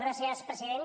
gràcies president